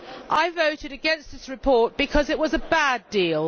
I voted against this report because it was a bad deal.